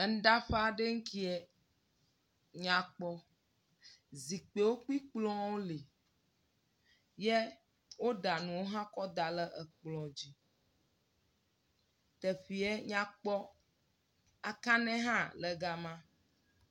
Nɖaƒe aɖe ŋkeɛ, nyakpɔ. Zikpiwo kplɔ̃wo le, yɛ woɖa nu hã kɔ da lɛ kplɔ̃ dzi. Teƒeɛ nya kpɔ. Akanɛ hã ke gama.